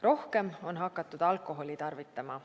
Rohkem on hakatud alkoholi tarvitama.